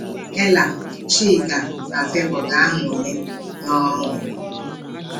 Ella, Chika na Favour ga-anwulị n’ọṅụ.